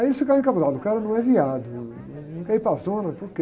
Aí eles ficaram encabulados, o cara não é, não, não quer ir para a zona, por quê?